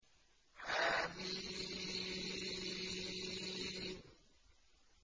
حم